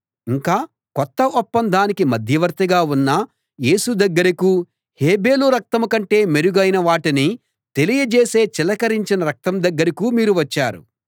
ఇంకా కొత్త ఒప్పందానికి మధ్యవర్తిగా ఉన్న యేసు దగ్గరకూ హేబెలు రక్తం కంటే మెరుగైన వాటిని తెలియజేసే చిలకరించిన రక్తం దగ్గరకూ మీరు వచ్చారు